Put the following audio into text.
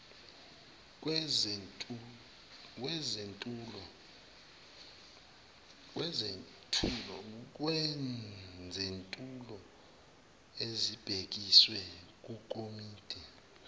lwezethulo ezibhekiswe kwikomidi